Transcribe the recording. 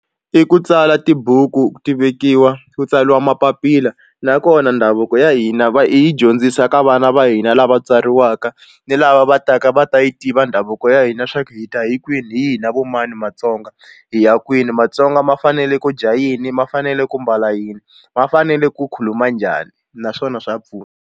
I ku tsala tibuku ti vekiwa ku tsariwa mapapila nakona ndhavuko ya hina va hi dyondzisa ka vana va hina lava tswariwaka ni lava va taka va ta yi tiva davuko ya hina swa ku hi ta kwini hi hina vo mani matsonga hi ya kwini matsonga ma fanele ku dya yini ma fanele ku mbala yini ma fanele ku khuluma njhani naswona swa pfuna.